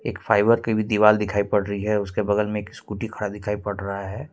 एक फाइबर के भी दीवाल दिखाई पड़ रही है उसके बगल में एक स्कूटी खड़ा दिखाई पड़ रहा है।